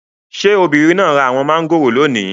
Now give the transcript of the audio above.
Ṣé obìnrin náà ra àwọn mangoro lónìí?